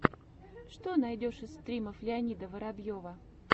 что найдешь из стримов леонида воробьева